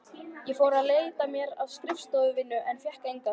Ég fór að leita mér að skrifstofuvinnu en fékk enga.